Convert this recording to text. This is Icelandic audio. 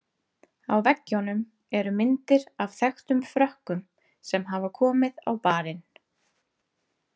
Á veggjunum eru myndir af þekktum Frökkum sem hafa komið á barinn.